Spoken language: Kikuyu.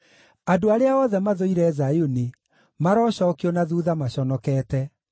Andũ arĩa othe mathũire Zayuni marocookio na thuutha maconokete.